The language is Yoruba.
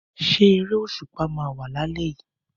Ṣé eré òṣùpá máa wà lálé yìí?